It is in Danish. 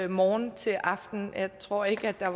morgen til aften og jeg tror ikke der